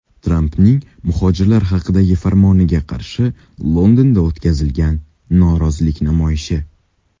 Trampning muhojirlar haqidagi farmoniga qarshi Londonda o‘tkazilgan norozilik namoyishi.